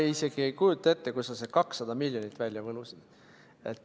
Ma isegi ei kujuta ette, kust sa selle 200 miljonit välja võlusid.